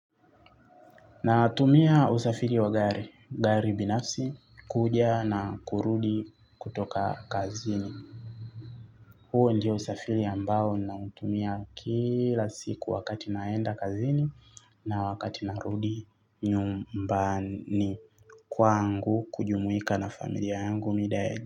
Natumia usafiri wa gari, gari binafsi, kuja na kurudi kutoka kazini. Huo ndio usafiri ambao nautumia kila siku wakati naenda kazini na wakati narudi nyumbani kwangu kujumuika na familia yangu mida.